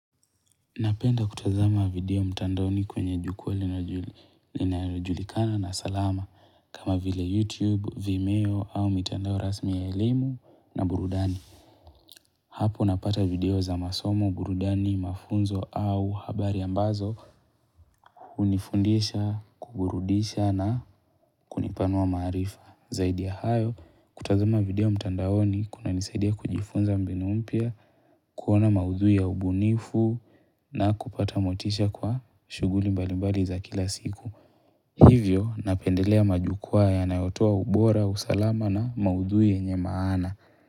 Napenda kutazama video mtandaoni kwenye jukwa linayojulikana na salama kama vile youtube, vimeo au mitandao rasmi ya elimu na burudani Hapo napata video za masomo, burudani, mafunzo au habari ambazo hunifundisha, kuburudisha na kunipanua maarifa Zaidi ya hayo kutazama video mtandaoni kunanisaidia kujifunza mbinu mpya kuona maudhui ya ubunifu na kupata motisha kwa shughuli mbalimbali za kila siku. Hivyo, napendelea majukwaa yanayotoa ubora, usalama na maudhui yenye maana.